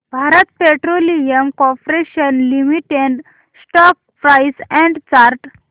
Bharat petroleum corporation limited stock price and chart